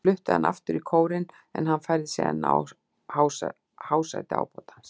Þeir fluttu hann aftur í kórinn, en hann færði sig enn að hásæti ábótans.